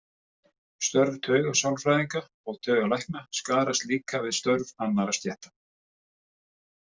Störf taugasálfræðinga og taugalækna skarast líka við störf annarra stétta.